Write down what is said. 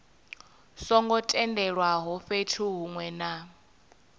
songo tendelwaho fhethu hunwe na